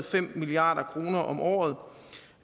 fem milliard kroner om året